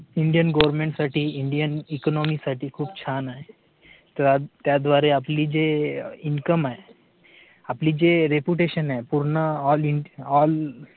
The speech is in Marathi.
Indian government साठी Indian economics साठी खूप छान आहे तर आज त्याद्वारे आपली जे income आहे आपली जे reputation आहे पूर्ण all in all